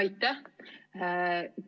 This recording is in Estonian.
Aitäh!